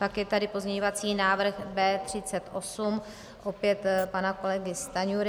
Pak je tady pozměňovací návrh B38, opět pana kolegy Stanjury.